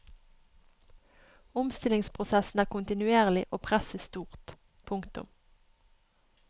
Omstillingsprosessen er kontinuerlig og presset stort. punktum